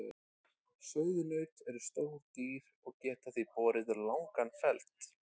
Sauðnaut eru stór dýr og geta því borið langan feld.